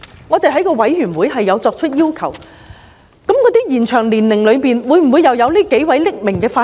我們在法案委員會亦有提出，延展退休年齡的名單中會否包括這幾位匿名法官？